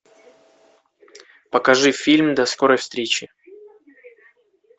покажи фильм до скорой встречи